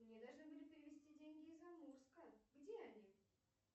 мне должны были перевести деньги из амурска где они